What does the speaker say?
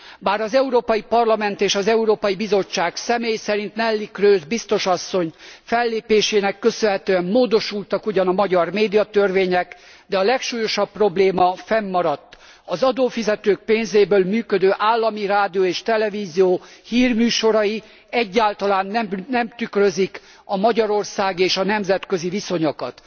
Bár az Európai Parlament és az Európai Bizottság, személy szerint Neelie Kroes biztos asszony fellépésének köszönhetően módosultak ugyan a magyar médiatörvények, de a legsúlyosabb probléma fennmaradt az adófizetők pénzéből működő állami rádió és televízió hírműsorai egyáltalán nem tükrözik a magyarországi és a nemzetközi viszonyokat.